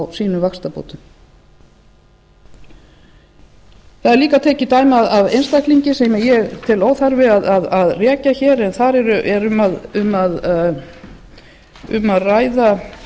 sínum vaxtabótum það er líka tekið dæmi af einstakling sem ég tel óþarfa að rekja hér en þar er um að ræða